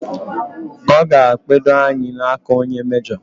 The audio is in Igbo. O gara kpedo anyi n'aka onye mejo